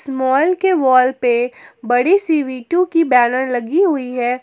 इस मॉल के वॉल पे बड़ी सी वी_टु की बैनर लगी हुई है।